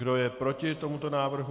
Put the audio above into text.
Kdo je proti tomuto návrhu?